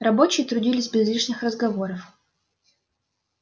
рабочие трудились без лишних разговоров